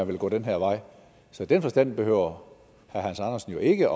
vil gå den her vej så i den forstand behøver herre hans andersen jo ikke